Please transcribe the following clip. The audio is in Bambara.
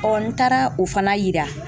n taara o fana yira.